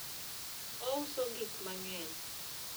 ouso gik mang'eny